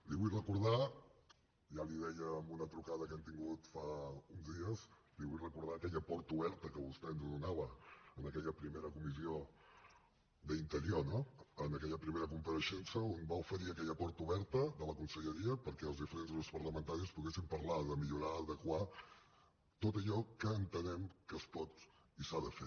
li vull recordar ja li ho deia en una trucada que hem tingut fa uns dies aquella porta oberta que vostè ens donava en aquella primera comissió d’interior no en aquella primera compareixença on va oferir aquella porta oberta de la conselleria perquè els diferents grups parlamentaris poguéssim parlar de millorar adequar tot allò que entenem que es pot i s’ha de fer